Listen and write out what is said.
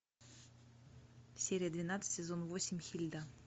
серия двенадцать сезон восемь хильда